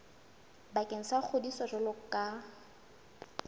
bakeng sa ngodiso jwalo ka